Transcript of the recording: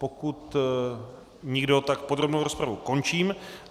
Pokud nikdo, tak podrobnou rozpravu končím.